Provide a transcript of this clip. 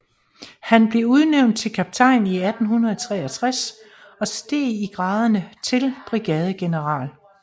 Han blev udnævnt til kaptajn i 1863 og steg i graderne til brigadegeneral